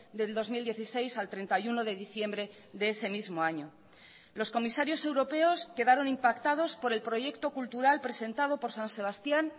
del dos mil dieciséis al treinta y uno de diciembre de ese mismo año los comisarios europeos quedaron impactados por el proyecto cultural presentado por san sebastián